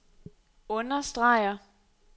understreger